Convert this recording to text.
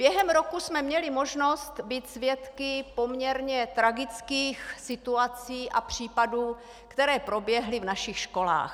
Během roku jsme měli možnost být svědky poměrně tragických situací a případů, které proběhly v našich školách.